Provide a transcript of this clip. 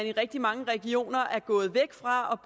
i rigtig mange regioner er gået væk fra